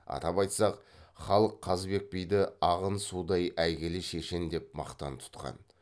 атап айтсақ халық қазыбек биді ағын судай әйгілі шешен деп мақтан тұтқан